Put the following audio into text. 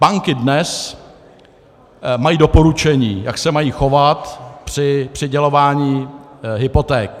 Banky dnes mají doporučení, jak se mají chovat při přidělování hypoték.